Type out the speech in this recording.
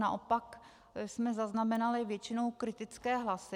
Naopak jsme zaznamenali většinou kritické hlasy.